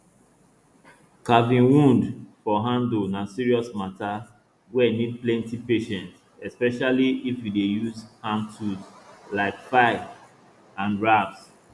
carving wood for handle na serious matter wey need plenti patience especially if you dey use hand tools like file and rasp